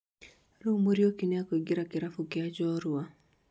rĩu Muriuki nĩakuingĩra kĩrabũ kia Njorua